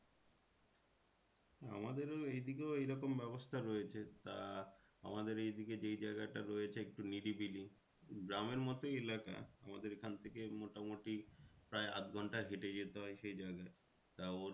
আমাদেরও এই দিকেও এইরকম ব্যবস্থা রয়েছে। তা আমাদের এই দিকে যে জায়গাটা রয়েছে একটু নিরিবিলি গ্রামের মতোই এলাকা আমাদের এখান থেকে মোটামুটি প্রায় আধ ঘন্টা হেঁটে যেতে হয় সেই জায়গায় তা ওর